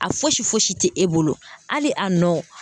A fosi fosi tɛ e bolo hali a nɔ.